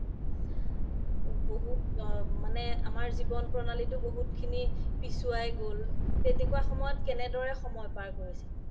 মানে আমাৰ জীৱন প্ৰণালীতো বহুত খিনি পিছোৱাই গ্'ল তেনেকুৱা সময়ত কেনেদৰে সময় পাৰ কৰিছিলে